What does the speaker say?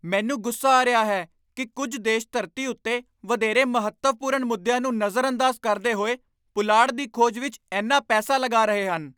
ਮੈਨੂੰ ਗੁੱਸਾ ਆ ਰਿਹਾ ਹੈ ਕਿ ਕੁਝ ਦੇਸ਼ ਧਰਤੀ ਉੱਤੇ ਵਧੇਰੇ ਮਹੱਤਵਪੂਰਨ ਮੁੱਦਿਆਂ ਨੂੰ ਨਜ਼ਰਅੰਦਾਜ਼ ਕਰਦੇ ਹੋਏ ਪੁਲਾੜ ਦੀ ਖੋਜ ਵਿੱਚ ਇੰਨਾ ਪੈਸਾ ਲਗਾ ਰਹੇ ਹਨ।